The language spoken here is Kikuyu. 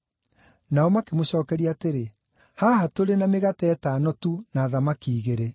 Nao makĩmũcookeria atĩrĩ, “Haha tũrĩ na mĩgate ĩtano tu na thamaki igĩrĩ.”